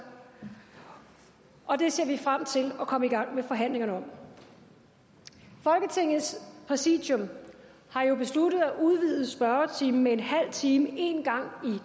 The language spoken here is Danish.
og det ser vi frem til at komme i gang med forhandlingerne om folketingets præsidium har jo besluttet at udvide spørgetimen med en halv time en gang